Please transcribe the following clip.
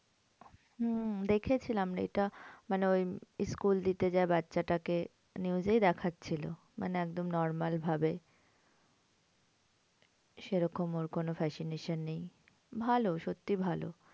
হম দেখেছিলাম রে এটা মানে ওই school দিতে যায় বাচ্চাটা কে news এই দেখাচ্ছিল মানে একদম normal ভাবে। সেরকম ওর কোন fascination নেই। ভালো সত্যি ভালো।